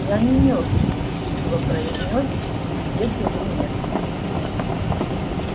я не мёртв терпеливо произнёс бедренец